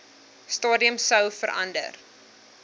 stadium sou verander